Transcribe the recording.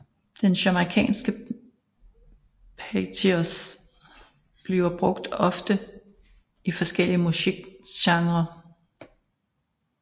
Den jamaicanske patois bliver ofte brugt i forskellige musikgenrer